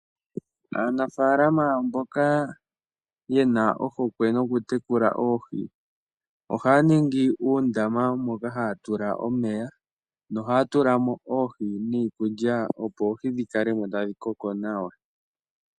Aanafalama mbok aye na ohokwe nokutekula oohi ohaya ningi uundama moka haya tula omeya nohaya tula mo oohi niikulya, opo oohi dhi kale mo tadhi koko nawa.